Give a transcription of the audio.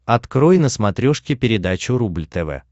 открой на смотрешке передачу рубль тв